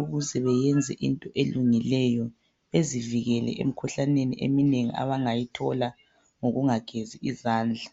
ukuze beyenze into elungileyo bezivikele emkhuhlaneni abangayithola ngokungagezi izandla.